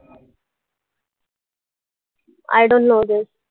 I don't know this